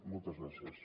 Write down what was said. moltes gràcies